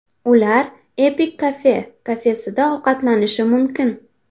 Ular Epic Cafe kafesida ovqatlanishi mumkin.